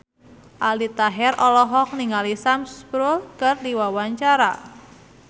Aldi Taher olohok ningali Sam Spruell keur diwawancara